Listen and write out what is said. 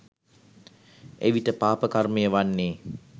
එවිට පාපකර්මය වන්නේ